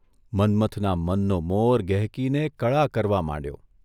મન્મથના મનનો મોર ગહેકીને કળા કરવા માંડ્યો.